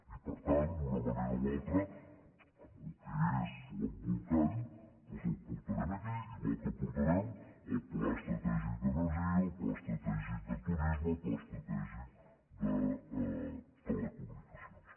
i per tant d’una manera o altra amb el que és l’embolcall doncs el portarem aquí igual que portarem el pla estratègic d’energia el pla estratègic de turisme el pla estratègic de telecomunicacions